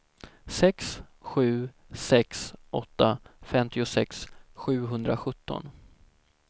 sex sju sex åtta femtiosex sjuhundrasjutton